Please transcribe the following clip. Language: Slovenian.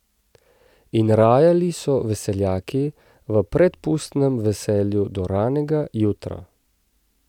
In rajali so veseljaki v predpustnem veselju do ranega jutra.